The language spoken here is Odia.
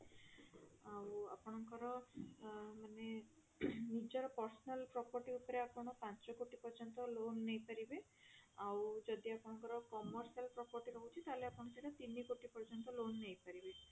ଆଉ ଆପଣଙ୍କର ଅ ମାନେ ନିଜର personal property ଉପରେ ଆପଣ ପାଞ୍ଚ କୋଟି ପର୍ଯ୍ୟନ୍ତ loan ନେଇପାରିବେ ଆଉ ଯଦି ଆପଣଙ୍କର commercial property ରହୁଛି ତାହେଲେ ଆପଣ ସେଟା ତିନି କୋଟି ପର୍ଯ୍ୟନ୍ତ loan ନେଇପାରିବେ